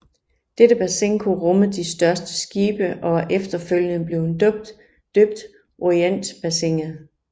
Dette bassin kunne rumme de største skibe og er efterfølgende blevet døbt Orientbassinet